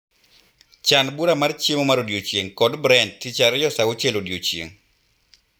Chan bura mar chiemomar odiechieng' kod Brent tich ariyo saa auchiel odiechieng'